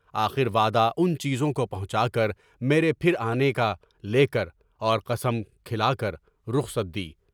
آخر وعدہ ان چیزوں کو پہنچا کر میرے پھرنے آنے کا لے کر اور قشم کھلا کر رخصت دی۔